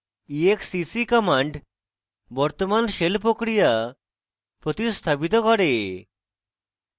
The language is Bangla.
exec command বর্তমান shell প্রক্রিয়া প্রতিস্থাপিত করে